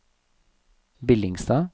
Billingstad